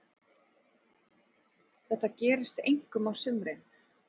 Þetta gerist einkum á sumrin.